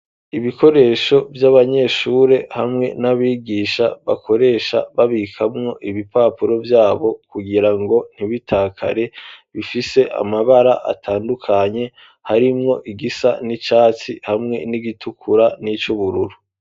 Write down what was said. Ibikoresho vy'abanyeshuri hamwe n'abigisha bakoresha babikamwo ibipapuro vyabo kugira ngo ntibitakare bifise amabara atandukanye harimwo igisa n'icatsi hamwe n'igitukura n'icubururu.